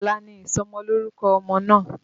Ọ̀la ni ìsọmọlórúkọ ọmọ náà